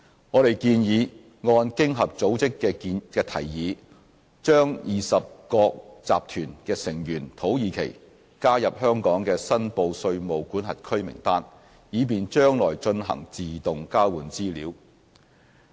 我們建議按經合組織的提議，把20國集團的成員土耳其加入香港的申報稅務管轄區名單，以便將來進行自動交換資料。